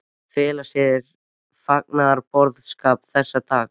Fela í sér fagnaðarboðskap þessa dags.